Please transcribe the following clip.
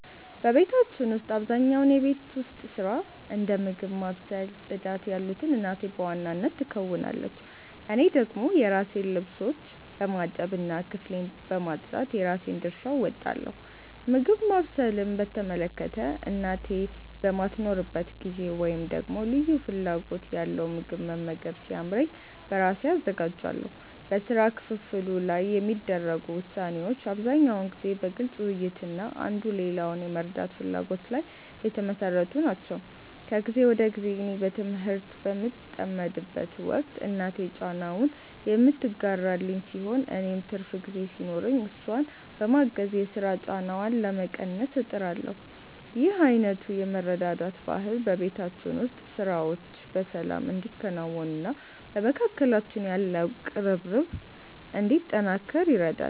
በቤታችን ውስጥ አብዛኛውን የቤት ውስጥ ሥራ፣ እንደ ምግብ ማብሰል እና ጽዳት ያሉትን እናቴ በዋናነት ትከውናለች። እኔ ደግሞ የራሴን ልብሶች በማጠብ እና ክፍሌን በማጽዳት የራሴን ድርሻ እወጣለሁ። ምግብ ማብሰልን በተመለከተ፣ እናቴ በማትኖርበት ጊዜ ወይም ደግሞ ልዩ ፍላጎት ያለው ምግብ መመገብ ሲያምረኝ በራሴ አዘጋጃለሁ። በሥራ ክፍፍሉ ላይ የሚደረጉ ውሳኔዎች አብዛኛውን ጊዜ በግልጽ ውይይት እና አንዱ ሌላውን የመርዳት ፍላጎት ላይ የተመሠረቱ ናቸው። ከጊዜ ወደ ጊዜ እኔ በትምህርት በምጠመድበት ወቅት እናቴ ጫናውን የምትጋራልኝ ሲሆን፣ እኔም ትርፍ ጊዜ ሲኖረኝ እሷን በማገዝ የሥራ ጫናዋን ለመቀነስ እጥራለሁ። ይህ አይነቱ የመረዳዳት ባህል በቤታችን ውስጥ ሥራዎች በሰላም እንዲከናወኑና በመካከላችን ያለው ቅርርብ እንዲጠናከር ይረዳል።